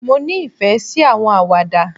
Mo ní ìfẹ sí àwọn Àwàdà